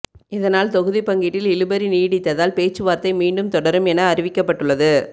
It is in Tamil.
இதனால் தொகுதி பங்கீட்டில் இழுபறி நீடித்ததால் பேச்சுவார்த்தை மீண்டும் தொடரும் என அறிவிக்கப்பட்டுள்ளது